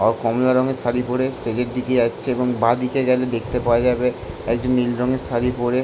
অও কমলা রঙের শাড়ী পরে স্টেজের দিকে যাচ্ছে এবং বা দিকে গেলে দেখতে পাওয়া যাবে একজন নীল রঙের শাড়ী পরে--